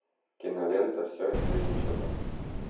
кинолента все или ничего